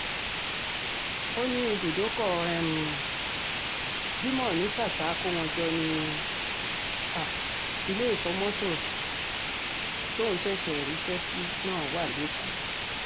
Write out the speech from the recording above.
ó ní ibùdókọ̀ um jimoh ní ṣàṣà akówóńjọ ni um ilé ìfọ̀mọ̀tẹ̀ tóun ṣẹ̀ṣẹ̀ ríṣẹ́ sí náà wà lẹ́kọ̀ọ́